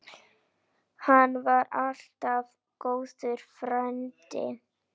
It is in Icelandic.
Hann var alltaf góður frændi.